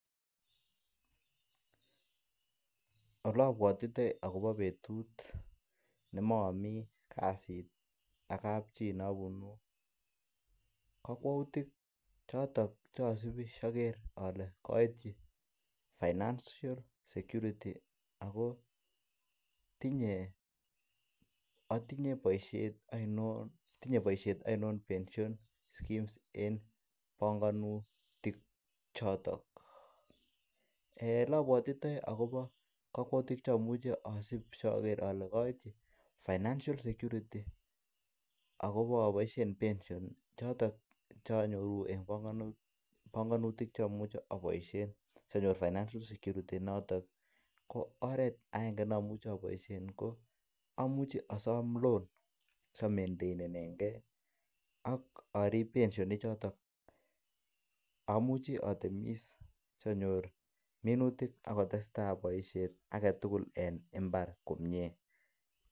Ole abwotitoi agobo betut nemami kasit ak kapchi ne abunu kokwoutik choton Che asubi asi ager ale koityi financial security ago tinye boisiet ainon pension schemes en panganutik choton Ole abwatitoi agobo kakwautik Che nyolu asubi asi ager ale koityi financial security agobo aboisien pension choton Che anyoru en panganutik Che amuche aboisien sonyor financial security inoton ko oret agenge ne amuche aboisien ko amuche asom loan asi amenteinen ge ak ariben pension ichoton amuche at atemis asi anyor minutik ak kotestai boisiet age tugul en mbar komie